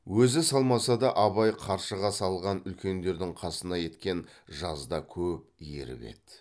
өзі салмаса да абай қаршыға салған үлкендердің қасына еткен жазда көп еріп еді